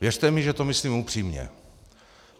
Věřte mi, že to myslím upřímně.